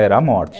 Era a morte.